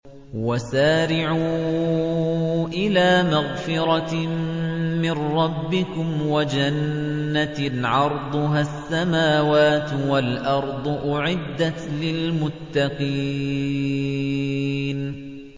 ۞ وَسَارِعُوا إِلَىٰ مَغْفِرَةٍ مِّن رَّبِّكُمْ وَجَنَّةٍ عَرْضُهَا السَّمَاوَاتُ وَالْأَرْضُ أُعِدَّتْ لِلْمُتَّقِينَ